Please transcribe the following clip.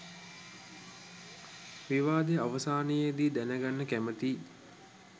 විවාදය අවසානයේදී දැනගන්න කැමතියි.